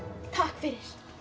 takk fyrir